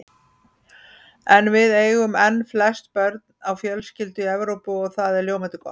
En við eigum enn flest börn á fjölskyldu í Evrópu og það er ljómandi gott.